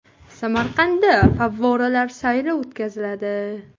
Samarqandda favvoralar sayli o‘tkaziladi.